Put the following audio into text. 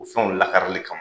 O fɛnw lakarili kama.